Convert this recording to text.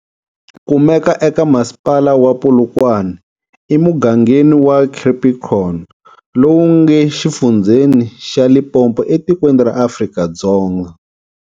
Kumekaka eka masipala wa Polokwane e mugangenin wa Capricon, lowu nge xifundzeni xa Limpopo etikweni ra Afrika-Dzonga.